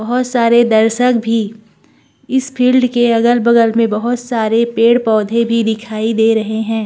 बहुत सारे दर्शक भी इस फील्ड के अगल-बगल में बहोत सारे पेड़-पौधे भी दिखाई दे रहें हैं।